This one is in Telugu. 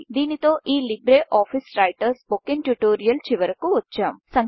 దీనితో ఈ LibreOffice writer spoken tutorial చివరకు వచ్చాం